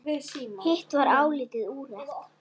Hitt var álitið úrelt.